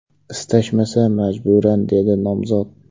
Istashmasa majburan”, dedi nomzod.